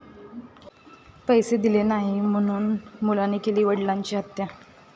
पैसे दिले नाही म्हणून मुलाने केली वडिलांची हत्या